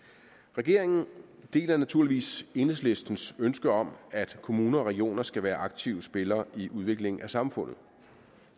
regeringen deler naturligvis enhedslistens ønske om at kommuner og regioner skal være aktive spillere i udviklingen af samfundet